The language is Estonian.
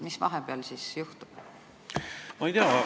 Mis ikkagi vahepeal juhtub?